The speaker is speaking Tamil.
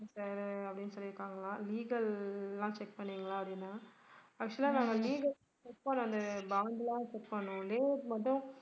sir அப்படின்னு சொல்லி இருக்காங்களா legal லாம் check பண்ணிங்களா அப்படின்னா actual ஆ நாங்க legal check பண்ணது bond லாம் check பண்ணோம் layout மட்டும்